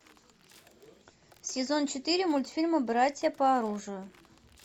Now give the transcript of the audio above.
сезон четыре мультфильма братья по оружию